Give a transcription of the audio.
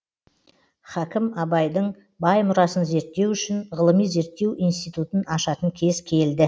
хакім абайдың бай мұрасын зерттеу үшін ғылыми зерттеу институтын ашатын кез келді